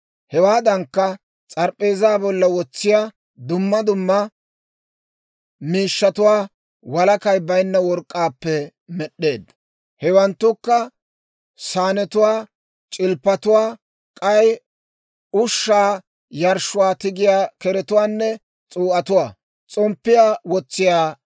Hewaadankka, s'arp'p'eezaa bolla wotsiyaa dumma dumma miishshatuwaa walakay baynna work'k'aappe med'd'eedda; hewanttukka saanetuwaanne c'ilppatuwaa, k'ay ushshaa yarshshuwaa tigiyaa keretuwaanne s'uu'atuwaa.